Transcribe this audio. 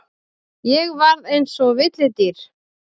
Ég varð eins og villidýr.